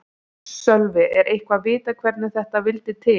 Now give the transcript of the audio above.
Sölvi: Er eitthvað vitað hvernig þetta vildi til?